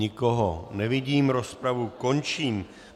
Nikoho nevidím, rozpravu končím.